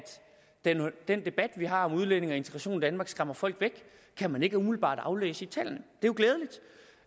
den debat vi har om udlændinge og integration i danmark skræmmer folk væk kan man ikke umiddelbart aflæse i tallene det